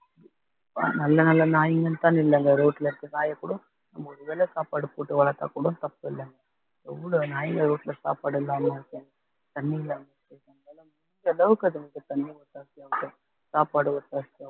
நல்ல நல்ல நாய்ங்கன்னுதான் நில்லுங்க road ல இருக்க நாயைக்கூட ஒருவேளை சாப்பாடு போட்டு வளர்த்தாக்கூட தப்பு இல்லைங்க எவ்ளோ நாய்ங்க road ல சாப்பாடு இல்லாம இருக்குங்க தண்ணி இல்லாம இருக்கு முடிஞ்ச அளவுக்கு அதுங்களுக்கு தண்ணி சாப்பாடு